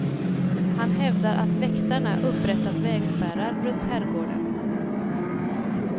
Han hävdar att väktarna upprättat vägspärrar runt herrgården.